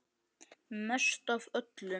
Mest af öllum.